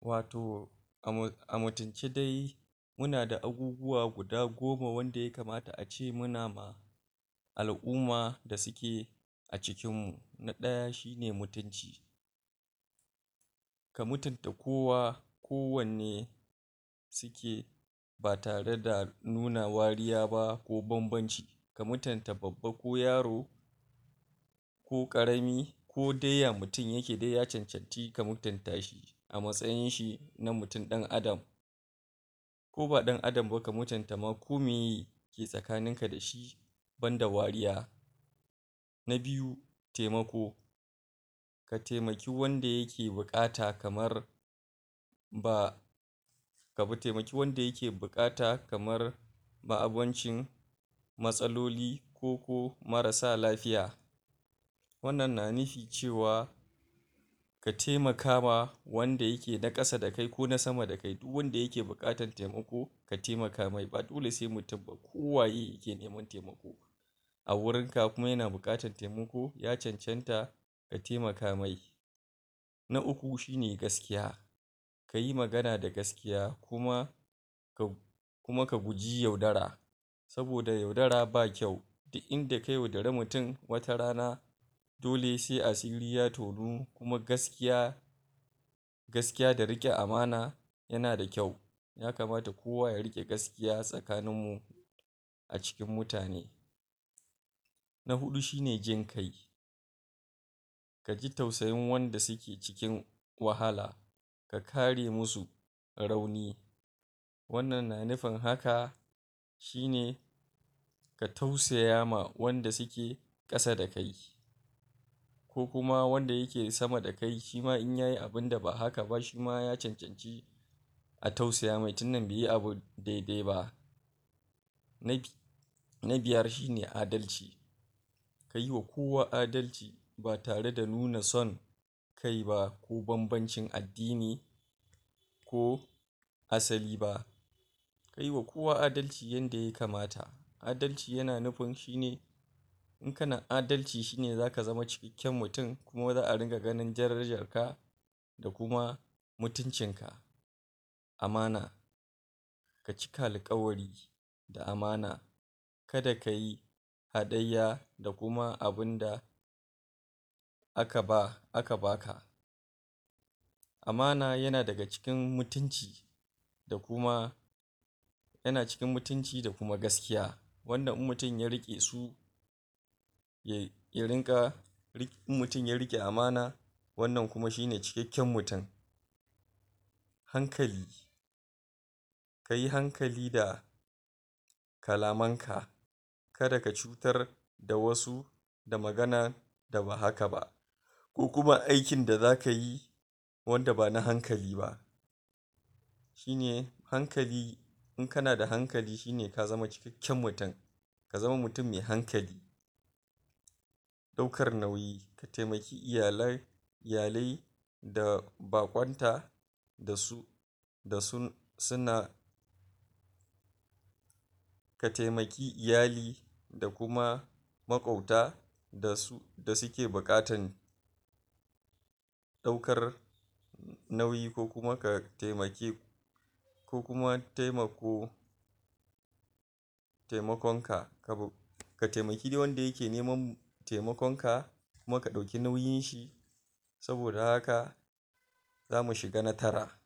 Wato a mutunce dai muna da abubuwa guda goma wanda yakamata a ce muna ma al'umma da suke a cikin mu, na ɗaya shi ne mutunci ka mutunta kowa kowanne suke ba tare da nuna wariya ba ko banbanci ka mutunta babba ko yaro ko ƙarami ko dai ya mutun yake dai ya cancanci ka mutunta shi a matsayin shi na mutun ɗan'adam ko ba ɗan'adam ba ka mutunta ma ko meye ke tsakanin ka da shi banda wariya na biyu, taimako ka taimaki wanda yake buƙata kamar ba ka fa ka taimaki wanda yake buƙata kamar ba abincin matsaloli ko ko marasa lafiya wannan na nufi cewa ka taimaka ma wanda yake na ƙasa da kai ko na sama da kai duk wanda yake buƙatan taimako ka taimaka mai ba dole sai mutun ba ko waye yake neman taimako a wurin ka kuma yana buƙatan taimako, ya cancanta kai taimaka mai na uku shi ne gaskiya kayi magana da gaskiya kuma ka kuma ka guji yaudara saboda yaudara ba kyau duk inda ka yaudari mutun to watarana dole sai asiri ya tonu kuma gaskiya gaskiya da riƙe amana yana da kyau yakamata kowa ya riƙe gaskiya tsakanin mu a cikin mutane na huɗu shi ne jin kai ka ji tausayin wanda suke cikin wahala ka kare musu rauni wannan na nufin haka shi ne ka tausaya ma wanda suke ƙasa da kai ko kuma wanda yake sama da kai shi ma in yayi abinda ba haka ba shi ma ya cancanci a tausaya mai tunda bai yi abu dai-dai ba na bi na biyar shi ne adalci kayi wa kowa adalci ba tare da nuna son kai ba ko banbancin addini ko asali ba kai wa kowa adalci yanda yakamata adalci yana nufin shi ne in kana adalci shi ne zaka zama cikakken mutun kuma za'a dinga ganin darajar ka da kuma mutuncin ka amana ka cika alƙawari da amana kada ka yi haɗayya da kuma abin da aka ba, aka baka amana yana daga cikin mutunci da kuma yana cikin mutunci da kuma gaskiya wannan in mutun ya riƙe su ya rinƙa in mutun ya riƙe amana wannan kuma shi ne cikakken mutun hankali kai hankali da kalaman ka kada ka cutar da wasu da maganan da ba haka ba ko kuma aikin da zaka yi wanda ba na hankali ba shi ne hankali in kana da hankali shi ne ka zama cikakken mutun ka zama mutun mai hankali ɗaukar nauyi, ka taimaki iyalai iyalai da baƙwanta da su da sun suna ka taimaki iyali da kuma maƙwabta da suke buƙatan ɗaukar nauyi ko kuma ka taimaki ko kuma taimako taimakon ka, ka taimaki dai wanda yake neman taimakon ka muka ɗauki nauyin shi saboda haka zamu shiga na tara